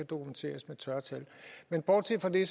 dokumenteres med tørre tal men bortset fra det